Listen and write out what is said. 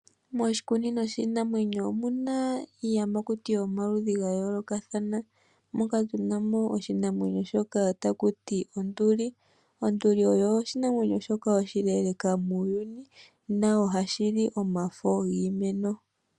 Moshikunino shiinamwenyo omu na iiyamakuti yomaludhi ga yoolokathana moka tu na mo oshinamwenyo shoka taku ti onduli. Onduli oyo oshinamwenyo shoka oshileeleka muuyuni nohashi li omafo giimeno.